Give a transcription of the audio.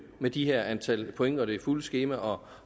med de her antal point og det fulde skema og